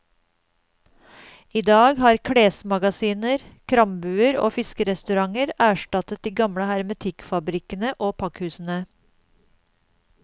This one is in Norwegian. I dag har klesmagasiner, krambuer og fiskerestauranter erstattet de gamle hermetikkfabrikkene og pakkhusene.